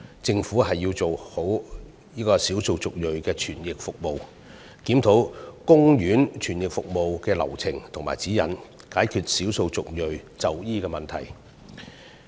政府要做好少數族裔的傳譯服務，檢討有關公營醫院傳譯服務的流程和指引，以解決少數族裔就醫的問題。